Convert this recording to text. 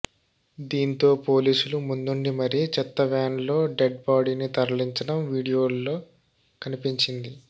దీంతో పోలీసులు ముందుండి మరీ చెత్త వ్యాన్ లో డెడ్ బాడీని తరలించడం వీడియోల్లో కనిపించింది